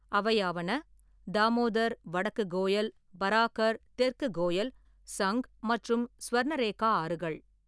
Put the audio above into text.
அவையாவன: தாமோதர், வடக்கு கோயல், பராக்கர், தெற்கு கோயல், சங்க் மற்றும் சுவர்ணரேகா ஆறுகள்.